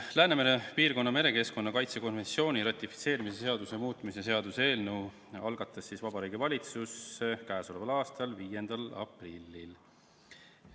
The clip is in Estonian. Läänemere piirkonna merekeskkonna kaitse konventsiooni ratifitseerimise seaduse muutmise seaduse eelnõu algatas Vabariigi Valitsus k.a 5. aprillil.